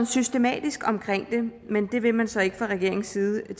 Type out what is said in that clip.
systematisk omkring det men det vil man så tilsyneladende ikke fra regeringens side og